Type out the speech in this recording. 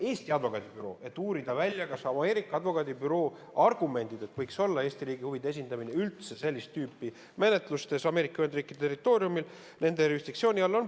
– Eesti advokaadibüroo, et uurida välja, kas võiks olla põhjendatud Eesti riigi huvide esindamine üldse sellist tüüpi menetlustes Ameerika Ühendriikide territooriumil, nende jurisdiktsiooni all.